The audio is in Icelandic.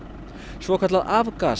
svokallað